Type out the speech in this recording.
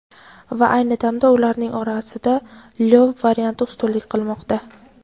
Va ayni damda ularning orasida Lyov varianti ustunlik qilmoqda.